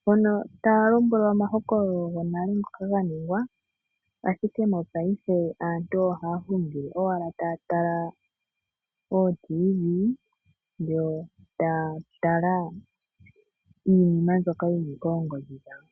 mpono taya lombwelwa omahokololo gonale ngoka ga ningwa ashike mopaife aantu ohaa hungile owala taya tala ootiivi yo taya tala iinima mbyoka yili koongodhi dhawo.